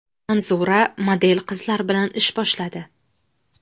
Manzura model qizlar bilan ish boshladi.